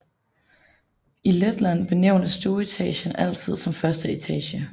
I Letland benævnes stueetagen altid som første etage